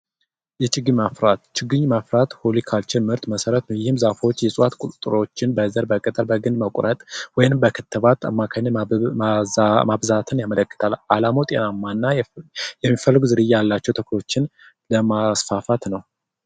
የችግኝ ማፍራት ችግኝ ማፍራት ሆሊካቸር ምርት መሠረት ወይም ዛፎች ይዟት ቁጥሮችን በዘር ፣ በቅጠል፣ በግንድ መቁረጥ ወይም በክትባት አማካይነት ማብዛትን ያመለክታል። አላማው ጤናማና የሚፈልጉ ዝርያ ያላቸው ተክሎችን ለማስፋፋት ነው።